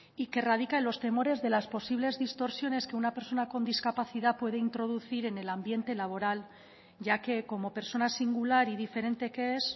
y que radica en los temores de las posibles distorsiones que una persona con discapacidad puede introducir en el ambiente laboral ya que como persona singular y diferente que es